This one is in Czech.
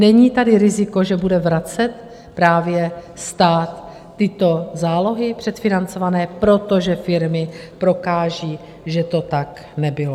Není tady riziko, že bude vracet právě stát tyto zálohy předfinancované, protože firmy prokážou, že to tak nebylo?